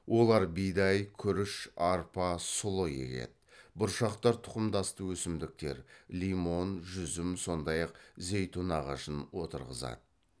олар бидай күріш арпа сұлы егеді бұршақтар тұқымдасты өсімдіктер лимон жүзім сондай ақ зәйтүн ағашын отырғызады